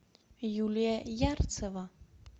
юлия ярцева